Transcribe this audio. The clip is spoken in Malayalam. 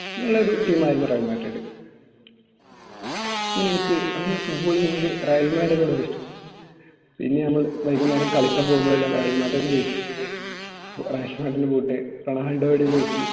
നല്ലൊരു team ആയിരുന്നു റിയൽ മാഡ്രിഡ് അങ്ങനെ എനിക്ക് അങ്ങനെ football ൽ എനിക്ക് റയൽ മാഡ്രിഡ് ഒരിഷ്ടം തോന്നി പിന്നെ നമ്മൾ വൈകുന്നേരം കളിക്കാൻ പോകുമ്പോൾ എല്ലാം റയൽ മാഡ്രിഡ്ന്റെ ജേഴ്സി ഇട്ട് പോകുന്നു boot റൊണാൾഡോയുടെ jersey